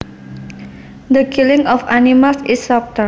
The killing of animals is slaughter